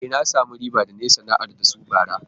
E, na samu riba da na yi sana'ar da su bara.